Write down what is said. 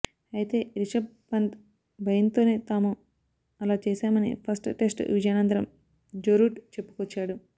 అయితే రిషభ్ పంత్ భయంతోనే తాము అలా చేశామని ఫస్ట్ టెస్ట్ విజయానంతరం జోరూట్ చెప్పుకొచ్చాడు